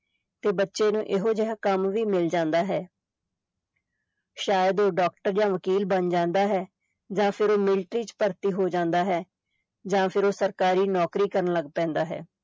ਤੇ ਬੱਚੇ ਨੂੰ ਇਹੋ ਜਿਹਾ ਕੰਮ ਵੀ ਮਿਲ ਜਾਂਦਾ ਹੈ ਸ਼ਾਇਦ ਉਹ doctor ਜਾਂ ਵਕੀਲ ਬਣ ਜਾਂਦਾ ਹੈ, ਜਾਂ ਫਿਰ ਉਹ military ਚ ਭਰਤੀ ਹੋ ਜਾਂਦਾ ਹੈ ਜਾਂ ਫਿਰ ਉਹ ਸਰਕਾਰੀ ਨੌਕਰੀ ਕਰਨ ਲੱਗ ਪੈਂਦਾ ਹੈ।